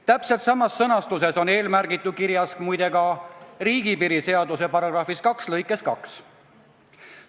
Täpselt samas sõnastuses on eelmärgitu kirjas ka riigipiiri seaduse § 2 lõikes 2.